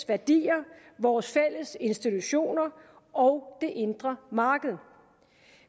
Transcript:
værdier vores fælles institutioner og det indre marked